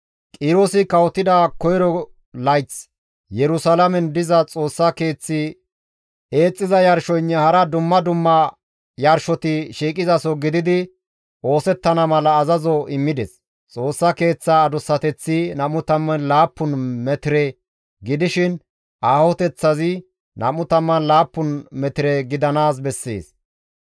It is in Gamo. «Qiroosi kawotida koyro layth Yerusalaamen diza Xoossa keeththi xuugettiza yarshoynne hara dumma dumma yarshoti shiiqizaso gididi oosettana mala azazo immides; Xoossa Keeththaa adussateththi 27 metire gidishin aahoteththazi 27 metire gidanaas bessees.